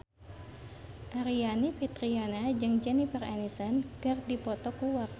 Aryani Fitriana jeung Jennifer Aniston keur dipoto ku wartawan